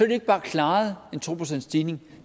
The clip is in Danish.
de ikke bare klaret en to procentsstigning